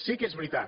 sí que és veritat